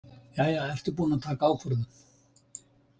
Jæja, ertu búinn að taka ákvörðun?